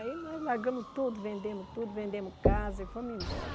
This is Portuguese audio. Aí nós largamos tudo, vendemos tudo, vendemos casa e fomos embora.